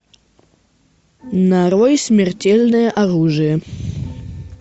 нарой смертельное оружие